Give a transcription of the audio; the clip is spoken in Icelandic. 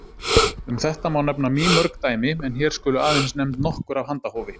Um þetta má nefna mýmörg dæmi en hér skulu aðeins nefnd nokkur af handahófi.